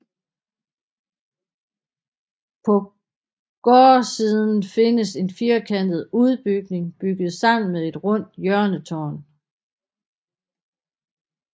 På gårdsiden findes en firkantet udbygning bygget sammen med et rundt hjørnetårn